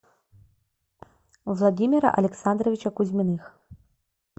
владимира александровича кузьминых